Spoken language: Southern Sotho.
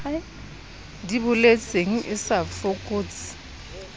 di boletseng e sa fokotse